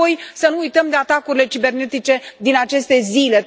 Și apoi să nu uităm de atacurile cibernetice din aceste zile.